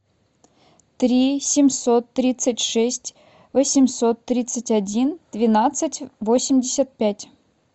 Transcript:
три семьсот тридцать шесть восемьсот тридцать один двенадцать восемьдесят пять